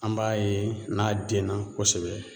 An b'a ye n'a denna kosɛbɛ